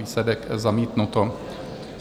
Výsledek: zamítnuto.